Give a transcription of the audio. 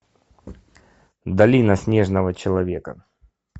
долина снежного человека